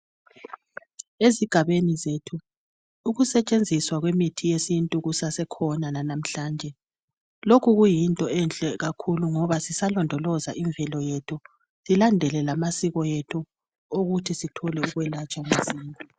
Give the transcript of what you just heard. Ezigabeni zethu ukusetshenziswa kwemithi yesintu kusasekhona lanamhlanje lokhu kuyinto enhle kakhulu ngoba sisalondoloza imvelo yethu silandele lamasiko ethu okuthi sithole ukwelatshwa masinyane